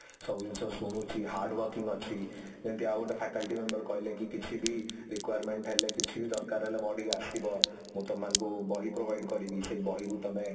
ସବୁ ଜିନିଷ ଶୁଣୁଛି hard working ଅଛି ଯେମତି ଆଉ ଗୋରତେ faculty member କହିଲେ କି କିଛି ବି requirement ହେଲେ କିଛି ବି ଦର୍କାର ହେଲେ ମୋ କତିକି ଅସଡିବ ମୁଁ ତମ ମାନକୁ ବହି provide କରିବି ସେ ବହିରୁ ତମେ